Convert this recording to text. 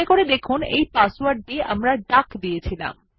মনে করে দেখুন এই পাসওয়ার্ড টিও ডাক ছিল